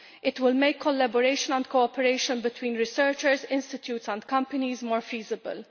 It will make collaboration and cooperation between researchers, institutes and companies more feasible.